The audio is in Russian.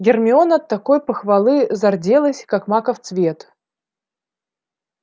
гермиона от такой похвалы зарделась как маков цвет